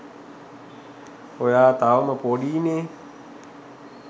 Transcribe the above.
ඔයා තවම පොඩීනේ